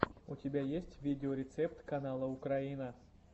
у тебя есть видеорецепт канала украина